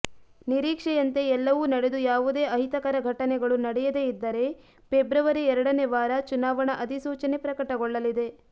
ನೀರೀಕ್ಷೆಯಂತೆ ಎಲ್ಲವೂ ನಡೆದು ಯಾವುದೇ ಅಹಿತಕರ ಘಟನೆಗಳು ನಡೆಯದೆ ಇದ್ದರೆ ಫೆಬ್ರವರಿ ಎರಡನೆ ವಾರ ಚುನಾವಣಾ ಅಧಿಸೂಚನೆ ಪ್ರಕಟಗೊಳ್ಳಲಿದೆ